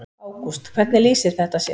Ágúst: Hvernig lýsir þetta sér?